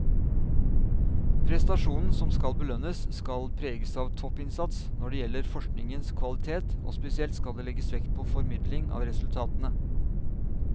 Prestasjonen som skal belønnes skal preges av toppinnsats når det gjelder forskningens kvalitet, og spesielt skal det legges vekt på formidling av resultatene.